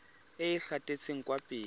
e e gatetseng kwa pele